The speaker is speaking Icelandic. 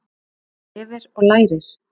Þú lifir og lærir.